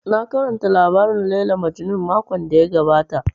Na karanta labarin Layla Majnun makon da ya gabata